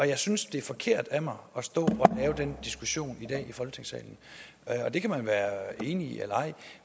jeg synes det er forkert af mig at stå og have den diskussion i dag i folketingssalen det kan man være enig i eller ej